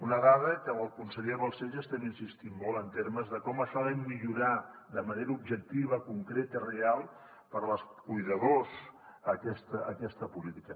una dada que amb el conseller balcells hi estem insistint molt en termes de com això ha de millorar de manera objectiva concreta i real per als cuidadors aquesta política